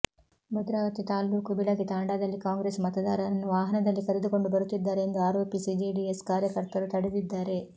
ಭದ್ರಾವತಿ ತಾಲ್ಲೂಕು ಬಿಳಕಿ ತಾಂಡಾದಲ್ಲಿ ಕಾಂಗ್ರೆಸ್ ಮತದಾರರನ್ನು ವಾಹನದಲ್ಲಿ ಕರೆದುಕೊಂಡು ಬರುತ್ತಿದ್ದಾರೆ ಎಂದು ಆರೋಪಿಸಿ ಜೆಡಿಎಸ್ ಕಾರ್ಯಕರ್ತರು ತಡೆದಿದ್ದಾರೆ